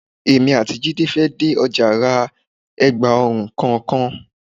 Èmi àti Jídé fẹ́ dé ọjà ra ẹ̀gba ọrùn kọ̀ọ̀kan.